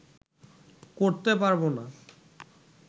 করতে পারবো না